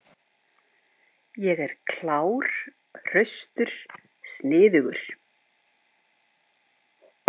Ég er klár, hraustur, sniðugur.